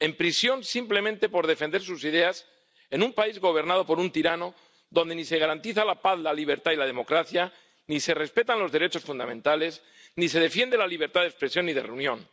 Están en prisión simplemente por defender sus ideas en un país gobernado por un tirano donde ni se garantiza la paz, la libertad y la democracia, ni se respetan los derechos fundamentales, ni se defiende la libertad de expresión ni de reunión.